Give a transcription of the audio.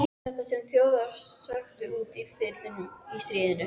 Já, þetta sem Þjóðverjar sökktu úti í firðinum í stríðinu.